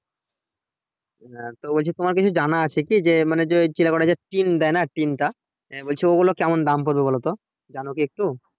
হ্যা তো বলছি তোমার কিছু জানা আছে কি যে মানে যে ওই চিলেকোঠায় টিন দেয় না টিনটা বলছে ওগুলি কেমন দাম পড়বে বলো তো জানো কি একটু